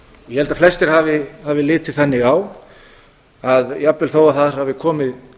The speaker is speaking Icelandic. ég held að flestir hafi litið þannig á að jafnvel þó þar hafi komið